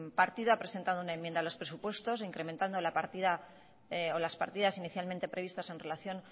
partido ha presentado una enmienda a los presupuestos incrementando la partida o las partidas inicialmente previstas en relación